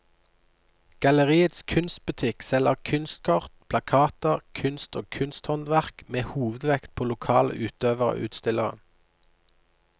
Galleriets kunstbutikk selger kunstkort, plakater, kunst og kunsthåndverk med hovedvekt på lokale utøvere og utstillere.